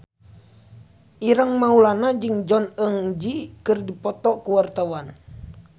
Ireng Maulana jeung Jong Eun Ji keur dipoto ku wartawan